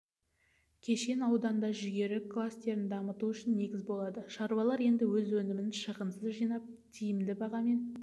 кешен ауданда жүгері кластерін дамыту үшін негіз болады шаруалар енді өз өнімін шығынсыз жинап тиімді бағамен